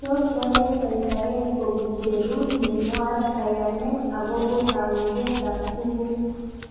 Tos wale saisaet kopun serut ne nuach kayanet akopo kaweket ab sukul